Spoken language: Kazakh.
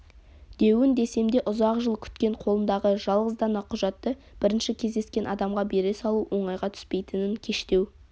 деуін десем де ұзақ жыл күткен қолындағы жалғыз дана құжатты бірінші кездескен адамға бере салу оңайға түспейтінін кештеу